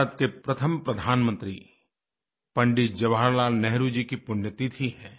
भारत के प्रथम प्रधानमंत्री पंडित जवाहरलाल नेहरु जी की पुण्यतिथि है